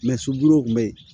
subulɔn kun be yen